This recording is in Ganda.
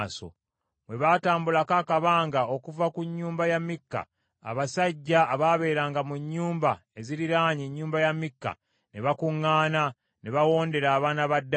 Bwe batambulako akabanga okuva ku nnyumba ya Mikka, abasajja abaabeeranga mu nnyumba eziriraanye ennyumba ya Mikka ne bakuŋŋaana ne bawondera abaana ba Ddaani.